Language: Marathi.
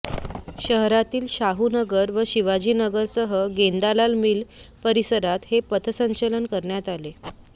शहरातील शाहू नगर व शिवाजी नगरसह गेंदालाल मील परिसरात हे पथसंचलन करण्यात आले